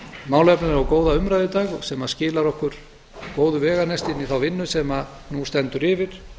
málefnalega og góða umræðu í dag sem skilar okkur góðu veganesti inn í þá vinnu sem nú stendur yfir